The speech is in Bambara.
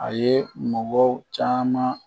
A ye mabɔ caman